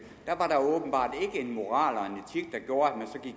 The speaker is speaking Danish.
en moral og